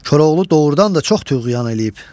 Koroğlu doğrudan da çox tuğyan eləyib.